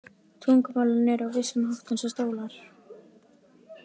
Tungumálin eru á vissan hátt eins og stólar.